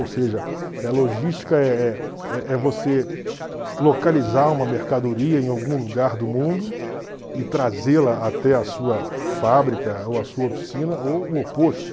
Ou seja, logística é é é é você localizar uma mercadoria em algum lugar do mundo e trazê-la até a sua fábrica ou a sua oficina, ou o oposto.